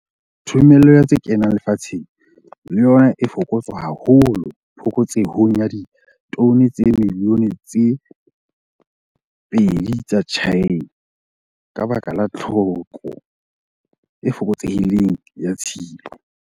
Thomello ya tse kenang lefatsheng le yona e fokotswa haholo phokotsehong ya ditone tsa dimilione tse 2 tsa China ka baka la tlhoko e fokotsehileng ya tshilo.